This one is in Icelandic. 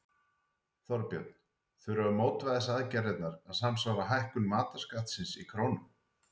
Þorbjörn: Þurfa mótvægisaðgerðirnar að samsvara hækkun matarskattsins í krónum?